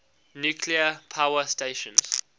nuclear power stations